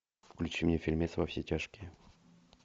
включи мне фильмец во все тяжкие